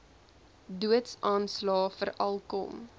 doodsaanslae veral kom